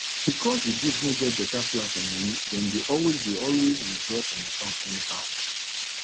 because di group no get better plan for money dem dey always dey always withdraw from account anyhow